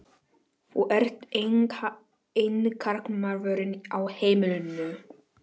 Þú ert eini karlmaðurinn á heimilinu.